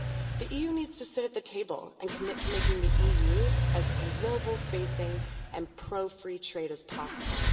The EU needs to sit at the table and commit to making the EU as global facing and pro free trade as possible.